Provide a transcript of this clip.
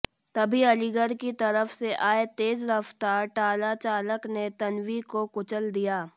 तभी अलीगढ़ की तरफ से आए तेज रफ्तार ट्राला चालक ने तन्वी को कुचल दिया